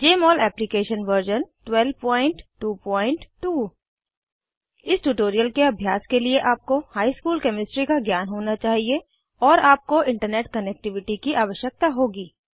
जमोल application version 1222 इस tutorial के अभ्यास के लिए आपको हाई स्कूल केमिस्ट्री का ज्ञान होना चाहिए और आपको इंटरनेट कनेक्टिविटी की आवश्यकता होगी